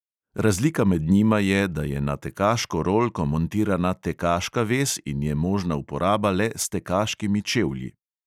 Razlika med njima je, da je na tekaško rolko montirana tekaška vez in je možna uporaba le s tekaškimi čevlji.